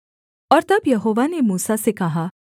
और तब यहोवा ने मूसा से कहा